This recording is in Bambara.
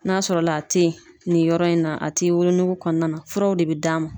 N'a sɔrɔ la a tɛ ye nin yɔrɔ in na a ti wolonugu kɔnɔna na furaw de bi d'a ma.